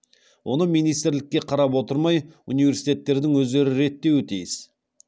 оны министрлікке қарап отырмай университеттердің өздері реттеуі тиіс